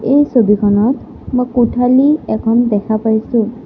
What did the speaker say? এই ছবিখনত মই কোঠালী এখন দেখা পাইছোঁ।